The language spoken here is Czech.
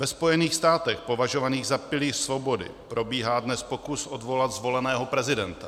Ve Spojených státech považovaných za pilíř svobody probíhá dnes pokus odvolat zvoleného prezidenta.